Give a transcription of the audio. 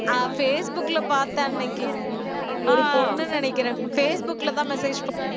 ஆஹ் ஃபேஸ்புக்ல பாத்தேன் அன்னைக்கு ஒரு பொண்ணு நினைக்கிறேன் ஃபேஸ்புக்ல தான் message